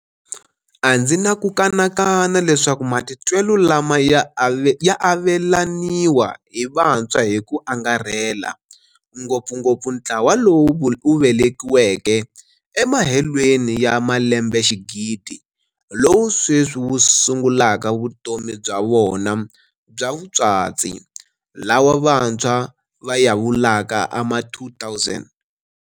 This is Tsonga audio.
A ndzi na ku kanakana leswaku matitwelo lama ya avelaniwa hi vantshwa hi ku angarhela ngopfungopfu ntlawa lowu wu velekiweke emahelweni ya malembexigidi lowu sweswi wu sungulaka vutomi bya vona bya vutswatsi, lawa vantshwa va ya vulaka Ama2000.